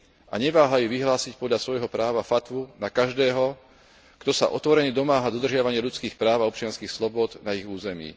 a neváhajú vyhlásiť podľa svojho práva fatvu na každého, kto sa otvorene domáha dodržiavania ľudských práv a občianskych slobôd na ich území.